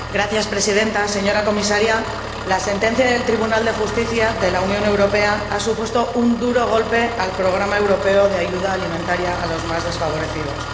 Señora Presidenta, señora Comisaria, la sentencia del Tribunal de Justicia de la Unión Europea ha supuesto un duro golpe al programa europeo de ayuda alimentaria a los más desfavorecidos.